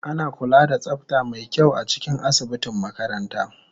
Ana kula da tsafta mai kyau a cikin asibitin makaranta